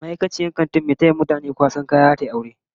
Ma'aikaciyar babban kantin mai taya mutane kwasan kaya, zata yi aure